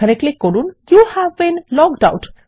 এখানে ক্লিক করুন দেখা যাচ্ছে ইউভ বীন লগড আউট